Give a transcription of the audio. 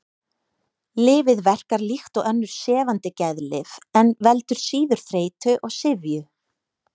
Lyfið verkar líkt og önnur sefandi geðlyf en veldur síður þreytu og syfju.